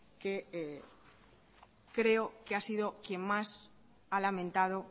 que creo que ha sido quien más ha lamentado